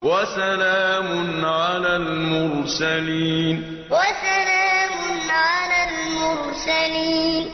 وَسَلَامٌ عَلَى الْمُرْسَلِينَ وَسَلَامٌ عَلَى الْمُرْسَلِينَ